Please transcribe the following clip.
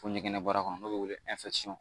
Fo ɲɛgɛnna baara kɔnɔ n'o bɛ wele